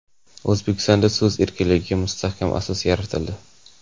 O‘zbekistonda so‘z erkinligiga mustahkam asos yaratildi.